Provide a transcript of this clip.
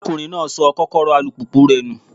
Arákùnrin náà sọ Kọ́kọ́rọ́ alùpùpù rẹ̀ nù.